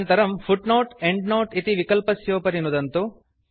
अनन्तरं footnoteएण्ड्नोते इति विकल्पस्योपरि नुदन्तु